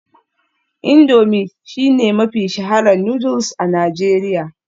Indomie shine mafi shaharar noodles a Najeriya